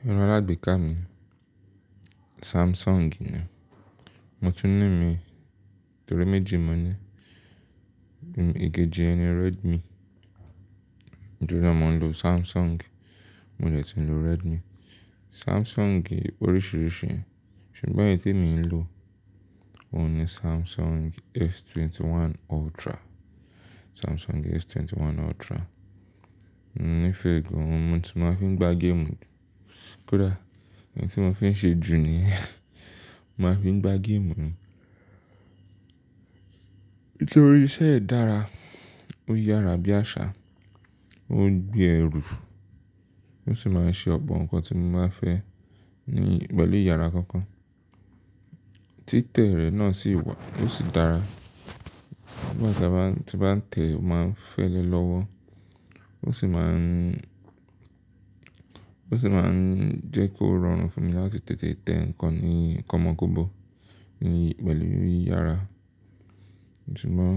Fóònù alágbeka mi Samsung ni. Mo tún ní mii, torí méjì mo ní. Ikeji yẹn ni Redmi. Nítorí náà mo ń lo Samsung, mo dè tún lo Redmi. Samsung oríṣiríṣi, ṣùgbọ́n èyí tí emi ń lò óun ní Samsung S21 Ultra, Samsung S21 Ultra. Mo nífẹ̀ẹ́ gan, mo tún máa fi ń gbá game kódà oun tí mo fi ń ṣe jù ni yen, mo màá fi ń gbá game ni. Nítorí iṣẹ́ rẹ̀ dára, ó yára bí àṣà, ó gbé ẹrù, ó sì máa ń ṣe ọ̀pọ̀ nǹkan tí mo máa fẹ́ ní pẹ̀lú ìyára kankan. Tí tẹ̀ rẹ̀ náà sì wà, ó sì dára. Bi kan bá ń, tí bá ń tẹ̀ o máa ń fẹ́lẹ́ lọ́wọ́. Ó sì máa ń, ó sì máa ń jẹ́ kó rọrùn fún mi láti tètè tẹ̀ nǹkan ní kànmọkọ́bọ ní pẹ̀lú ìyára. Ṣùgbọ́n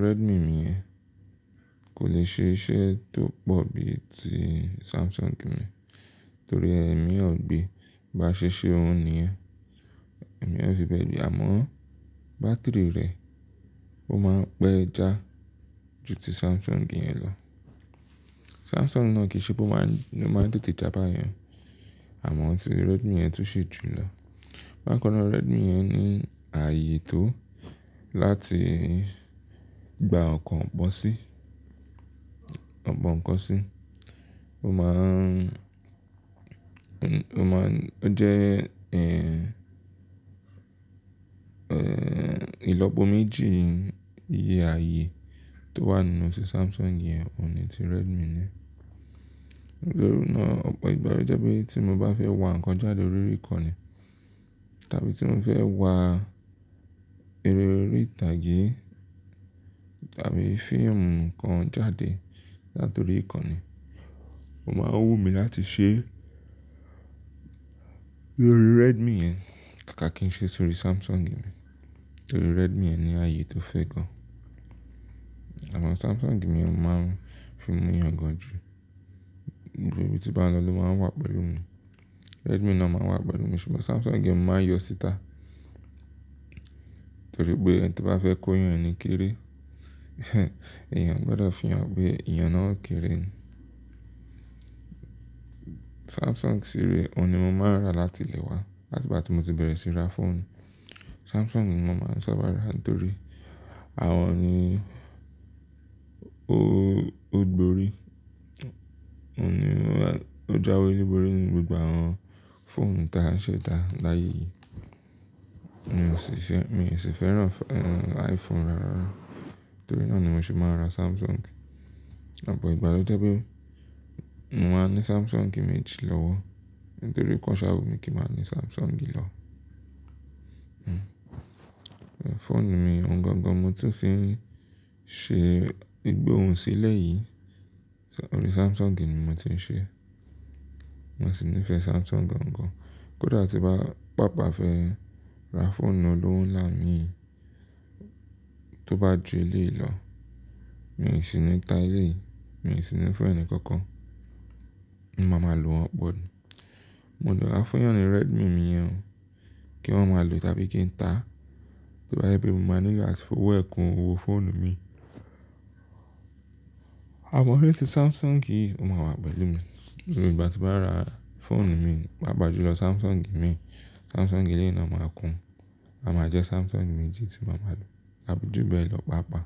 Redmi mi ẹ́h kò lè ṣe iṣẹ́ tó pọ̀ bí i ti Samsung mi, torí ẹ̀mí ẹ ọ̀ gbe bá ṣe ṣẹ́ òun ni yẹ́n, ẹ̀mí ọ̀gbẹ́, àmọ́ bátìrì rẹ̀ ó máa ń pẹ́ já ju ti Samsung yẹn lọ. Samsung náà kì í ṣe pé ó máa ń, ó máa ń tètè já ba yẹn, àmọ́ ti Redmi yẹn tún ṣe jù lọ. Bákan náà Redmi yẹn ní ààyè tó láti gba ọpọ nkan si, ọ̀pọ̀ nǹkan sí. Ó máa ń, ó máa ń, ó jẹ́ ẹ́, ẹ́ ìlọ́po méjì iye ààyè tó wà nínú ti Samsung yẹn, òní ti Redmi ni. Nítorí náà ọ̀pọ̀ ìgbà ló jẹ́ pé tí mo bá fẹ́ wa nǹkan jáde lórí ìkànnì, tàbí tí mo fẹ́ wa eré orí ìtàgé tàbí fíìmù nǹkan jáde látorí ìkànnì, ó máa ń wú mi láti ṣe lórí Redmi yẹn káàka ki n ṣẹ́ sórí Samsung mi. Lórí Redmi yẹn ní ààyè tó fẹ́ gan. Àmọ́ Samsung mi yẹ́n mo máa ń fi mú yàn gan ju. Gbogbo ibi tí ba ń lọ ló máa ń wà pẹ̀lú mi. Redmi náà máa wà pẹ̀lú mi ṣùgbọ́ Samsung mi máa n yọ síta torí pé ẹni tí bá fẹ́ kó ìyàn ẹni kéré. Èèyàn gbọdọ̀ fihàn pé èèyàn náà ò kéré ni. Samsung ṣírè, òun ni mo máa ń rà láti ìléwá láti ìgbà tí mo ti bẹ̀rẹ̀ síí ra fóònù. Samsung ni mo máa ń sábà rà torí àwọn ni ó, ó gborí. Ó ni, ó jáwé olu borí nínú gbogbo àwọn fóònù táa ṣe tá láàyè yìí. N ò sì ṣe, mi ò sì fẹ́ràn, ẹ́ iPhone rárá torí náà ni mo ṣe máa n rà Samsung. Ọ̀pọ̀ ìgbà ló jẹ́ pé mo máa ní Samsung méjì lọ́wọ́ nítorí okan ṣà wù mí kí n máa ní Samsung lọ. Hmm. Fóònù mi ohun kan gan mo tún fi ń ṣe gbigba ohun sílẹ̀ yìí órí Samsung ni mo ti ń ṣe. Mo sì nífẹ̀ẹ́ Samsung gan gan. Kódà tí bá, pàpà fẹ́ ra fóònù olowo nlà mí tó bá ju eléyìí lọ, mi ò sì ní tá eléyi, mi ò sì ní fún ẹni kankan. Mo máa ma lo wọn pọ̀ ni. Mo lè wa fún èèyàn ní Redmi mi yẹn kí wọ́n máa lò tàbí kí n tà. Toba jẹ́ pẹ̀ mo maá nílò láti fowó ẹ̀ kún owó fóònù imi. Àmọ́ ní ti Samsung yìí ó máa wà pẹ̀lú mi gbogbo ìgbà tí bá ra fóònù mi ni, paapaa ju lọ Samsung imi. Samsung eléyìí náà máa kú, a máa jẹ́ Samsung méjì tí màá máa lò tàbí ju bẹ́ẹ̀ lọ pàápàá.